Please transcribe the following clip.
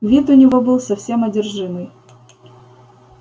вид у него был совсем одержимый